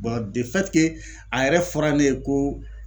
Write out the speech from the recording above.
a yɛrɛ fɔra ne ye ko